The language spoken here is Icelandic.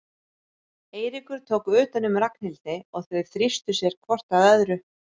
Eiríkur tók utan um Ragnhildi og þau þrýstu sér hvort að öðru.